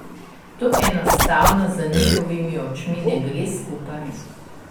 To enostavno z njihovimi očmi ne gre skupaj.